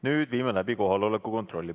Nüüd viime läbi kohaloleku kontrolli.